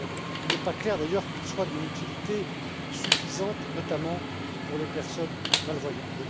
Il n'est pas clair d'ailleurs qu'il soit d'une utilité suffisante, notamment pour les personnes malvoyantes.